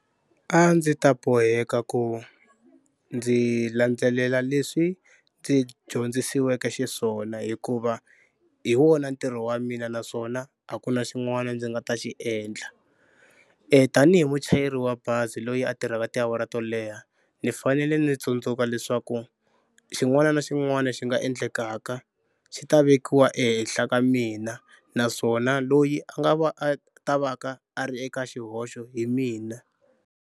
A ndzi ta boheka ku ndzi landzelela leswi ndzi dyondzisiweke xiswona hikuva hi wona ntirho wa mina naswona a ku na xin'wana ndzi nga ta xi endla. Tanihi muchayeri wa bazi loyi a tirhaka tiawara to leha ni fanele ni tsundzuka leswaku xin'wana na xin'wana xi nga endlekaka xi ta vekiwa ehenhla ka mina naswona loyi a nga a ta va ka a ri eka xihoxo hi mina.